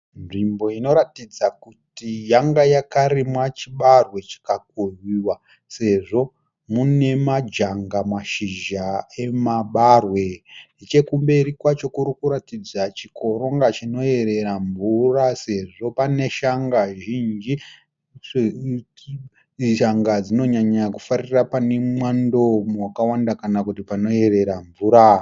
Nzvimbo inoratidza kuti yanga yakarimwa chibage chikakohwehwa sezvo mune majanga mashizha emabarwe. nechekumberi kwacho kuri kuratidza chikomba chinoerera mvura sezvo pane shanga zhinji. shanga dzinonyanyofarira pane mwando wakawanda kana kuti panoerera mvura.